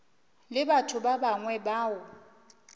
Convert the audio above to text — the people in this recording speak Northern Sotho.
le batho ba bangwe bao